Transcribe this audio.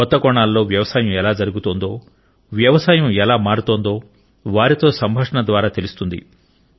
కొత్త కోణాల్లో వ్యవసాయం ఎలా జరుగుతోందో వ్యవసాయం ఎలా మారుతుందో వారితో సంభాషణ ద్వారా తెలుస్తుంది